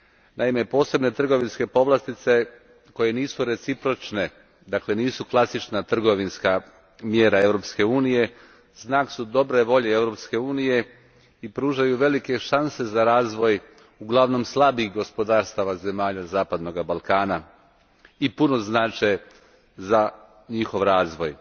Naime, posebne trgovinske povlastice koje nisu recipročne, dakle nisu klasična trgovinska mjera Europske unije, znak su dobre volje Europske unije i pružaju velike šanse za razvoj uglavnom slabijih gospodarstava zemalja zapadnoga Balkana, i puno znače za njihov razvoj.